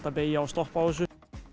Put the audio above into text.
að beygja og stoppa á þessu